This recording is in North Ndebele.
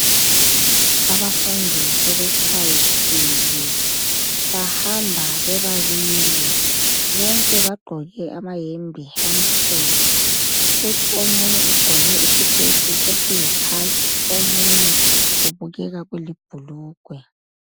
Abafundi sebetshayisile, bahamba bebabili, bonke bagqoke amayembe amhlophe. Kuthi omunye ugqoke isiketi esiyikhakhi, omunye kubukeka kulibhulugwe.